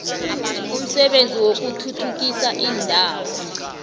umsebenzi wokuthuthukisa iindawo